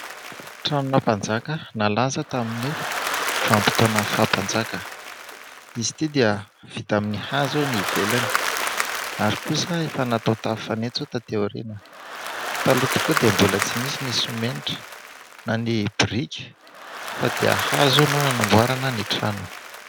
Tranona mpanjaka nalaza tamin'ny vanim-potoanan'ny faha mpanjaka, izy ity dia vita amin'ny hazo ny ivelany ary kosa efa natao tafo fanitso taty aoriana, taloha tokoa dia mbola tsy nisy ny simenitra na ny biriky fa dia hazo no nanamboarana ny trano.